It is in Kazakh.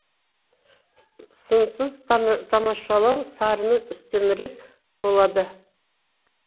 сынсыз тамашалау сарыны үстемірек болады